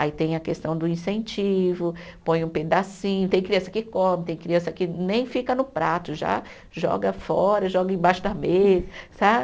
Aí tem a questão do incentivo, põe um pedacinho, tem criança que come, tem criança que nem fica no prato, já joga fora, joga embaixo da mesa.